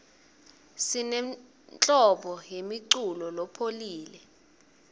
sinenhlobo yemiculo lopholile